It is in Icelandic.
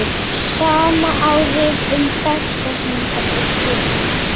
Sama á við um dagsetningar og tölur.